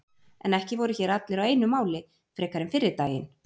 En ekki voru hér allir á einu máli frekar en fyrri daginn.